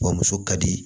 Wa muso ka di